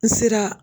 N sera